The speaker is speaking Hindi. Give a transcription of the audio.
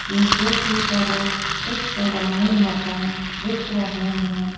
पीछे की तरफ कुछ पुराने मकान दिख रहे हैं।